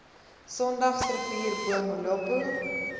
sondagsrivier bo molopo